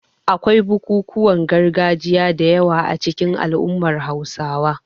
Akwai bukukuwan gargajiya da yawa a cikin al'ummar Hausawa.